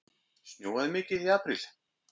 Snjóaði mikið í apríl?